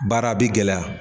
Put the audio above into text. Baara bɛ gɛlɛya.